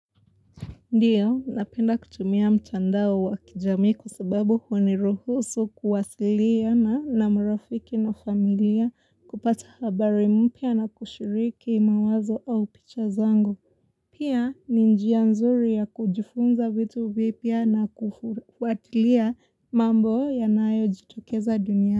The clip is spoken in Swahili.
Ndio, napenda kutumia mtandao wa kijamii kwa sababu huniruhusu kuwasilia na namarafiki na familia kupata habari mpya na kushiriki mawazo au picha zangu. Pia, ni njia nzuri ya kujifunza vitu vipya na kufuatilia mambo ya nayo jitokeza dunia.